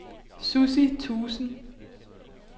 Sussi Thuesen